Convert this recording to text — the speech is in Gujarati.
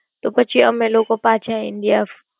તે પછી અમે લોકો પાછા India.